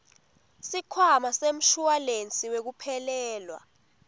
sikhwama semshuwalensi wekuphelelwa